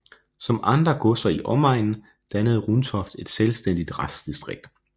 Som andre godser i omegnen dannede Runtoft et selvstændigt retsdistrikt